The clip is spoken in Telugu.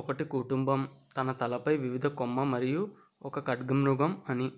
ఒకటి కుటుంబం తన తలపై వివిధ కొమ్ము మరియు ఒక ఖడ్గమృగం అని